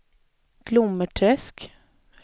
Glommersträsk